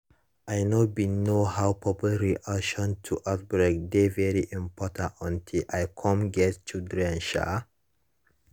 i know bin know how public reaction to outbreak dey very important until i cum get children um